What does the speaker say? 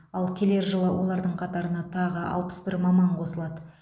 ал келер жылы олардың қатарына тағы алпыс бір маман қосылады